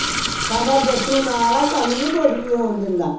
ਸਾਡਾ ਯਸ਼ੁ ਨਾਲ ਹੈ ਸਾਨੂ ਨੀ ਕੁਛ ਵੀ ਹੋਣ ਦਿੰਦਾ